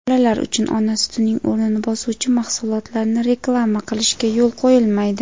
bolalar uchun ona sutining o‘rnini bosuvchi mahsulotlarni reklama qilishga yo‘l qo‘yilmaydi.